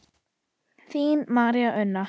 Þín María Una.